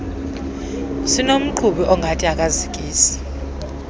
esinomqhubi ongathi akazikisi